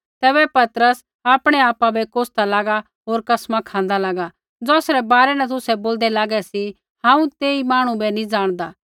तैबै पतरस आपणै आपा बै कोसदा लागा होर कसमा खाँदा लागा ज़ौसरै बारै न तुसै बोलदै लागै सी हांऊँ तेई मांहणु बै नी ज़ाणदा